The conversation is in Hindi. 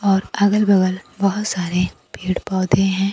और अगल बगल बहोत सारे पेड़ पौधे हैं।